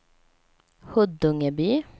Huddungeby